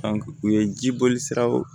u ye jiboli siraw